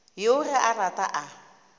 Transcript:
yoo ge a rata a